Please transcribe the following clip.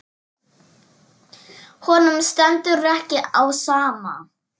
Honum stendur ekki á sama.